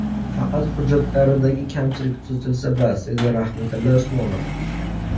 Faqat hujjatlaridagi kamchilik tuzatilsa, bas”, dedi Rahmatilla Usmonov.